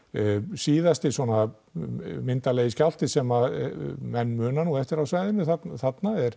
síðasti svona myndarlegi skjálfti sem að menn muna eftir á svæðnu þarna er